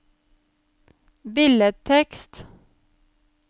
billedtekst